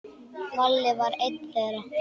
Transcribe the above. Valli var einn þeirra.